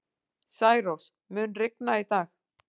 Særós, mun rigna í dag?